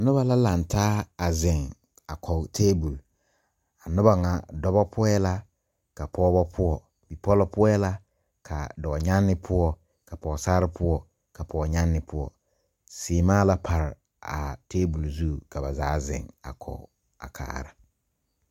Nobɔ la kang taa a zeŋ a kɔg tabol a noba ŋa dɔbɔ poɔɛ la ka pɔɔbɔ poɔ bipɔlɔ poɔɛ la ka dɔɔnyaŋne poɔ ka pɔɔsarre poɔ ka pɔɔnyaŋne poɔ sèèmaa la pare a tabol zu ka ba zaa zeŋ a kɔg a kaara.